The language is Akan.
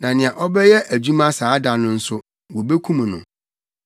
Na nea ɔbɛyɛ adwuma saa da no nso, wobekum no.